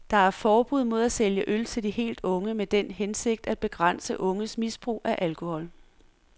Der er forbud mod at sælge øl til de helt unge med den hensigt at begrænse unges misbrug af alkohol.